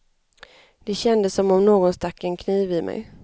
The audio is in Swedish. Det kändes som om någon stack en kniv i mig.